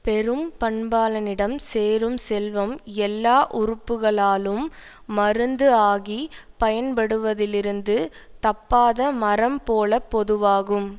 பெரும் பண்பாளனிடம் சேரும் செல்வம் எல்லா உறுப்புகளாலும் மருந்து ஆகிப் பயன்படுவதிலிருந்து தப்பாத மரம் போல பொதுவாகும்